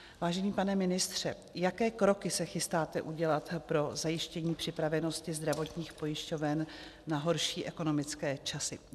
Vážený pane ministře, jaké kroky se chystáte udělat pro zajištění připravenosti zdravotních pojišťoven na horší ekonomické časy?